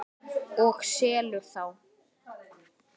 Og selur þá.